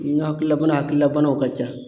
N ka hakililabana hakilina banaw ka ca.